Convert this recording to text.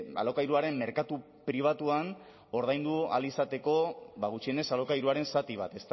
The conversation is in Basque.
alokairuaren merkatu pribatuan ordaindu ahal izateko gutxienez alokairuaren zati bat